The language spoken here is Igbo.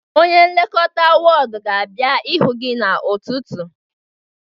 onye nlekọta ward ga-abịa ịhụ gị n'ụtụtụ